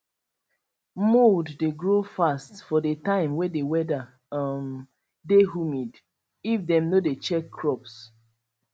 mould dey grow fast for the time way the weather um dey humid if dem no dey check crops